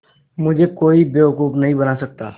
मुझे कोई बेवकूफ़ नहीं बना सकता